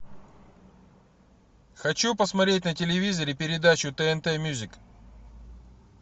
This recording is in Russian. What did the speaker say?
хочу посмотреть на телевизоре передачу тнт мьюзик